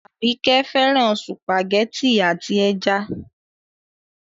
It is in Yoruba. Àbíkẹ́ fẹ́ràn sùpàgẹ́tì àti ẹja.